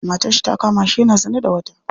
Matarshi ta kamashi yana zina da wata.